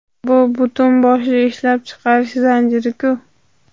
Bu butun boshli ishlab chiqarish zanjiri-ku.